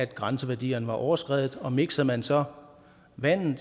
grænseværdierne var overskredet og miksede man så vandet